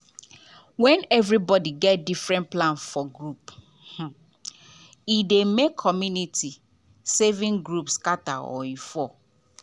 when everybody get different plan for group e dey make community saving group scatter or fail.